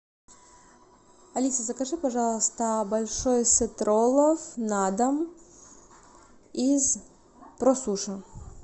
алиса закажи пожалуйста большой сет роллов на дом из просуши